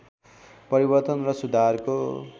परिवर्तन र सुधारको